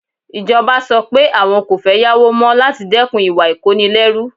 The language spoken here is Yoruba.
Ìjọba sọ pé àwọn kò fẹ́ yáwó mọ́ láti dẹ́kun ìwà ìkónilẹ́rú.